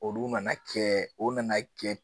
Olu nana kɛ o nana kɛ